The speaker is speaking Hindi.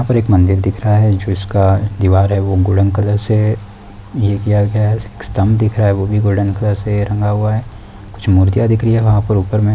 और एक मंदिर दिख रहा है जिसका दिवार है वो गोल्डन कलर से ये किया गया है एक स्तम्भ दिखा रहा है वो भी गोल्डन कलर से रंगा हुआ है कुछ मूर्तियाँ दिख रही हैं वहाँ पर ऊपर में |